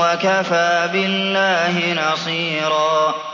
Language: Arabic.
وَكَفَىٰ بِاللَّهِ نَصِيرًا